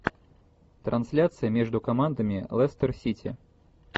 трансляция между командами лестер сити